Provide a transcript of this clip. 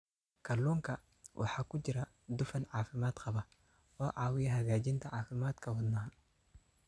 Kalluunka waxaa ku jira dufan caafimaad qaba oo caawiya hagaajinta caafimaadka wadnaha.